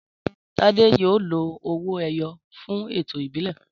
Tádé yóò lo owó-ẹyọ fún ẹ̀tọ́ ìbílẹ̀.